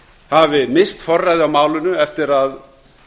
hafi misst forræði á málinu eftir að